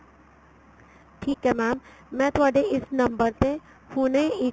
ਠੀਕ ਏ mam ਮੈਂ ਤੁਹਾਡੇ ਇਸ number ਤੇ ਹੁਣੇ ਇੱਕ